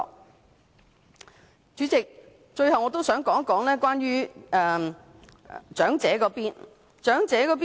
代理主席，最後我想談談長者方面。